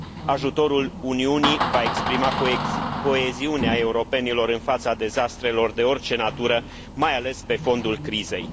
Ajutorul Uniunii va exprima coeziunea europenilor în fața dezastrelor de orice natură, mai ales pe fondul crizei.